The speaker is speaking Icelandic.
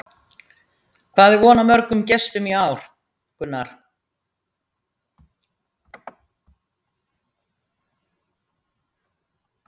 Hvað er von á mörgum gestum í ár, Gunnar?